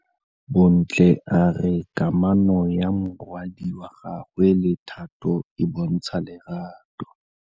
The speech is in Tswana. Bontle a re kamanô ya morwadi wa gagwe le Thato e bontsha lerato.